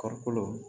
Kɔɔrikolo